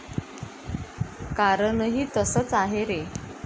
कारणही तसच आहे रे.